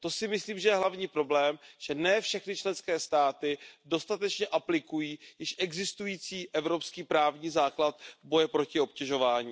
To si myslím, že je hlavní problém, že ne všechny členské státy dostatečně aplikují již existující evropský právní základ boje proti obtěžování.